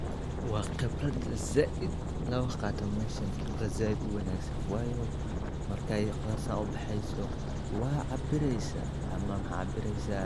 Thermometer-ka dhulka waa qalab muhiim u ah cilmibaarista beeraha iyo deegaanka, kaas oo loo adeegsado cabbiraadda heerkulka lakabyada kala duwan ee ciidda,